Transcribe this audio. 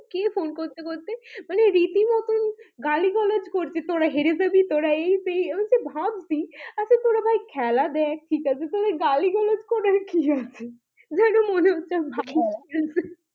কে phone করতে করতে মানে রীতি মতন গালিগালাজ করছে তোরা হেরে যাবি তোরা এই সেই আমিতো ভাবছি আচ্ছা তোরা ভাই খেলে দেখ ঠিক আছে তোদের গালিগালাজ করার কি আছে? যেন মনে হচ্ছে ভাই